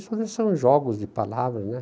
Isso não são jogos de palavras, né?